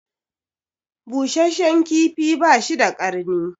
Busheshshen kifi bashi da karni